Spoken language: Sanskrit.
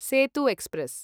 सेतु एक्स्प्रेस्